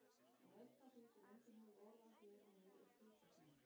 En eitt af því sem enginn hefur orð á hér og nú er tilkostnaður.